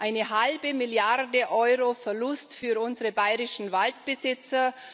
Eine halbe Milliarde Euro Verlust für unsere bayrischen Waldbesitzer!